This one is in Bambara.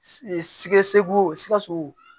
Sikɛ cugu sikaso